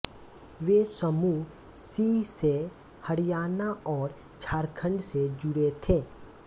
वे समूह सी से हरियाणा और झारखंड से जुड़े थे